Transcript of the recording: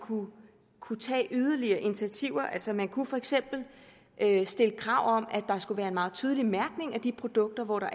kunne tage yderligere initiativer altså man kunne for eksempel stille krav om at der skulle være en meget tydelig mærkning af de produkter